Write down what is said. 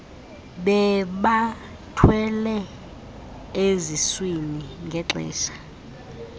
bebathwele eziswini ngexesha